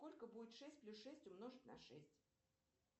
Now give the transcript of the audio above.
сколько будет шесть плюс шесть умножить на шесть